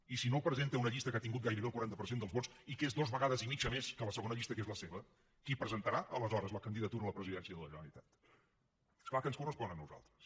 i si no el presenta una llista que ha tingut gairebé el quaranta per cent dels vots i que és dues vegades i mitja més que la segona llista que és la seva qui presentarà aleshores la candidatura a la presidència de la generalitat és clar que ens correspon a nosaltres